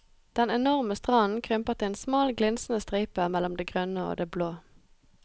Den enorme stranden krymper til en smal glinsende stripe mellom det grønne og det blå.